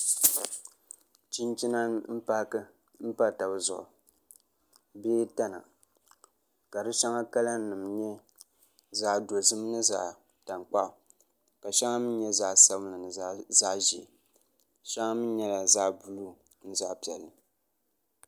Chinchina m-paaki m-pa taba zuɣu bee tana ka di shɛŋa kalanima nyɛ zaɣ' dɔzim ni zaɣ' tankpaɣu ka shɛŋa mi nyɛ zaɣ' sabinli ni zaɣ' ʒee shɛŋa mi nyɛla zaɣ' buluu ni zaɣ' piɛlli